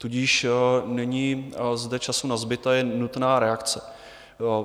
Tudíž není zde času nazbyt a je nutná reakce.